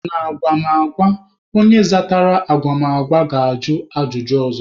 N'agwụgwa, onye zatara agwụgwa ga-ajụ ajụjụ ọzọ.